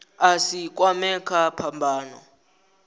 a si kwamee kha phambano